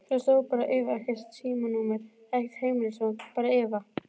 Þar stóð bara Eva, ekkert símanúmer, ekkert heimilisfang, bara Eva.